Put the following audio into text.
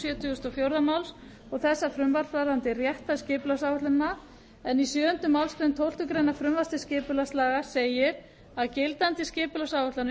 sjötugasta og fjórða máls og þessa frumvarps varðandi rétthæð skipulagsáætlana en í sjöunda málsgrein tólftu greinar frumvarps til skipulagslaga segir að gildandi skipulagsáætlanir